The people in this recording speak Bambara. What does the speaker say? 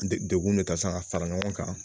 De degun de taa san ka fara ɲɔgɔn kan